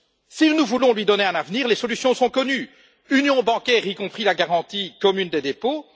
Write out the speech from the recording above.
Si nous voulons lui donner un avenir, les solutions sont connues union bancaire, y compris la garantie commune des dépôts